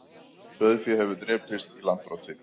Sauðfé hefur drepist í Landbroti